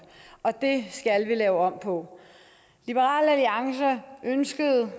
og det skal vi lave om på liberal alliance ønskede